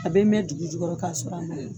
A bɛ mɛ dugu jukɔrɔ kasɔrɔ a ma